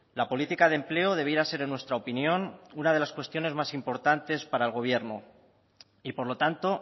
la política de empleo debiera ser en nuestra opinión una de las cuestiones más importantes para el gobierno y por lo tanto